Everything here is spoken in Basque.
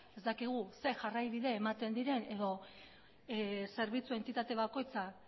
ez dakigu zer jarraibide ematen diren edo zerbitzu entitate bakoitza